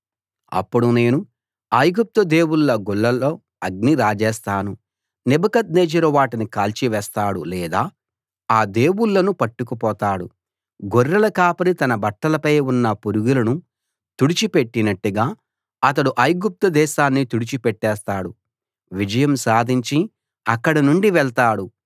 అప్పుడు నేను ఐగుప్తు దేవుళ్ళ గుళ్లలో అగ్ని రాజేస్తాను నెబుకద్నెజరు వాటిని కాల్చి వేస్తాడు లేదా ఆ దేవుళ్ళను పట్టుకుపోతాడు గొర్రెల కాపరి తన బట్టలపై ఉన్న పురుగులను తుడిచి పెట్టినట్టుగా అతడు ఐగుప్తు దేశాన్ని తుడిచి పెట్టేస్తాడు విజయం సాధించి అక్కడ నుండి వెళ్తాడు